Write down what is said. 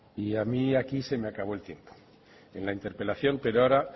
y a mí aquí se me acabó el tiempo en la interpelación pero ahora